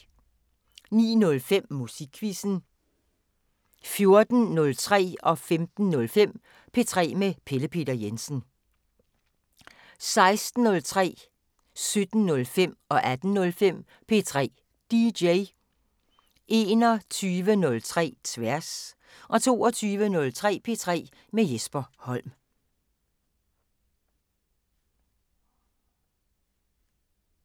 09:05: Musikquizzen 14:03: P3 med Pelle Peter Jensen 15:05: P3 med Pelle Peter Jensen 16:03: P3 DJ 17:05: P3 DJ 18:05: P3 DJ 21:03: Tværs 22:03: P3 med Jesper Holm